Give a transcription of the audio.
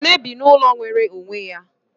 Ekene bi n'ụlọ nwere onwe ya